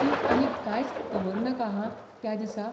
तूं आनीक कांयच दवरनाका हां त्या दिसा.